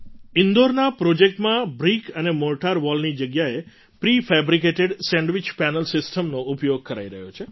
ઈન્દોરના પ્રૉજેક્ટમાં બ્રિક અને મૉર્ટાર વૉલની જગ્યાએ પ્રિ ફેબ્રિકેટેડ સેન્ડવિચ પેનલ સિસ્ટમનો ઉપયોગ કરાઈ રહ્યો છે